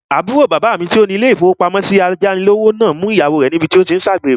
Àbúrò bàbá mi tó ní ilé-ìfowópamọ́sí ayánilówó náà mú ìyàwó rẹ̀ níbi tí ó tí n ṣe àgbèrè